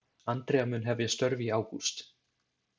Andrea mun hefja störf í ágúst.